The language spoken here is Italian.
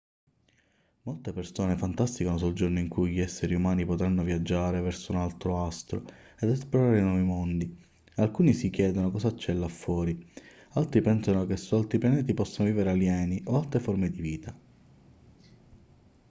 molte persone fantasticano sul giorno in cui gli esseri umani potranno viaggiare verso un altro astro ed esplorare nuovi mondi alcuni si chiedono cosa c'è là fuori altri pensano che su altri pianeti possano vivere alieni o altre forme di vita